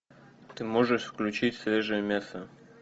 ты можешь включить свежее мясо